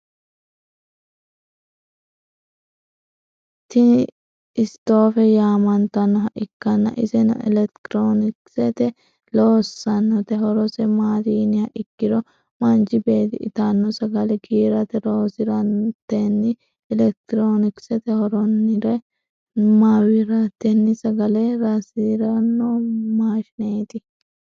Tini istoofe yaamantannoha ikkanna iseno elekitironikisete loossannote. horose maati yiniha ikkiro manchi beetti itanno sagale giirate loosirantenni elekitironikise horonire mawiratetenni sagale raisiranno maashineeti.